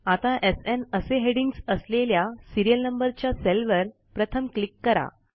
आता एसएन असे हेडिंग्ज असलेल्या सिरीयल नंबरच्या सेलवर प्रथम क्लिक करा